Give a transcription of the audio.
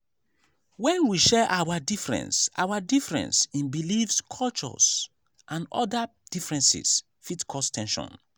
when we share our difference our difference in beliefs culture and oda differences fit cause ten sion